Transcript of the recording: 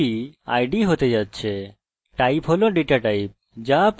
type হল data type যা আপনি এই ক্ষেত্রে রাখতে চান